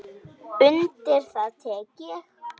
Undir það tek ég.